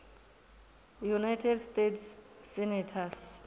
united states senators